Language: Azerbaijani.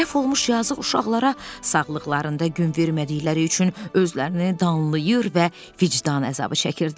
Tələf olmuş yazıq uşaqlara sağlıqlarında gün vermədikləri üçün özlərini danlayır və vicdan əzabı çəkirdilər.